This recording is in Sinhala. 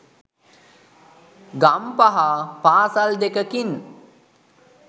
ගම්පහ පාසල් දෙකකින්